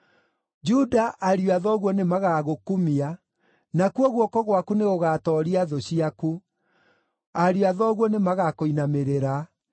“Juda, ariũ a thoguo nĩmagagũkumia; nakuo guoko gwaku nĩgũgatooria thũ ciaku; ariũ a thoguo nĩmagakũinamĩrĩra.